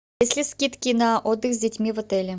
есть ли скидки на отдых с детьми в отеле